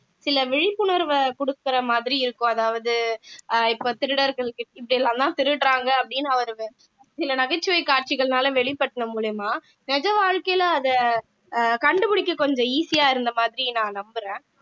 சில விழிப்புணர்வை கொடுக்கிற மாதிரி இருக்கும் அதாவது அஹ் இப்போ திருடர்களுக்கு இப்படி எல்லாம்தான் திருடறாங்க அப்படின்னு அவரு சில சில நகைச்சுவை காட்சிகள்னால வெளிப்பட்டன மூலியமா நிஜவாழ்க்கையில அத அஹ் கண்டுபிடிக்க கொஞ்சம் easy ஆ இருந்த மாதிரி நான் நம்புறேன்